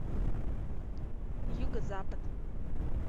юго запад